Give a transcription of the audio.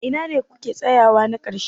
Ina ne kuke tsayawa na ƙarshe?